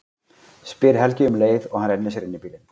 spyr Helgi um leið og hann rennir sér inn í bílinn.